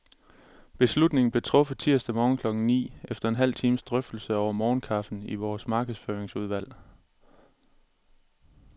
Beslutningen blev truffet tirsdag morgen klokken ni, efter en halv times drøftelse over morgenkaffen i vores markedsføringsudvalg.